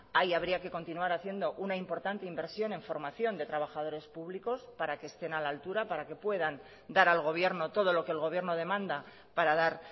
ahí habría que continuar haciendo una importante inversión en formación de trabajadores públicos para que estén a la altura para que puedan dar al gobierno todo lo que el gobierno demanda para dar